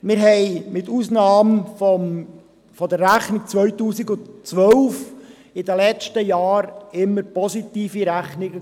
Wir hatten, mit Ausnahme der Rechnung 2012 in den letzten Jahren immer positive Rechnungen.